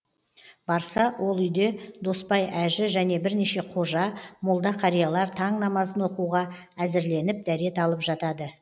барса ол үйде досбай әжі және бірнеше қожа молда қариялар таң намазын оқуға әзірленіп дәрет алып жатады